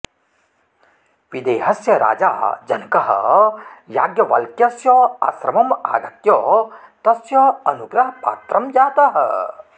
विदेहस्य राजा जनकः याज्ञवल्क्यस्य आश्रमम् आगत्य तस्य अनुग्रहपात्रं जातः